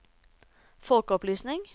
folkeopplysning